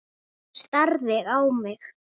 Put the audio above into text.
Hún starði á mig.